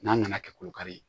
N'a nana kɛ kolo kari ye